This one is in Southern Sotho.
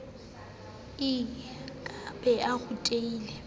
e ke be e rutile